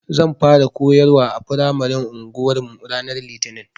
Zan fara koyarwa a firamaren anguwarmu ranar Litinin.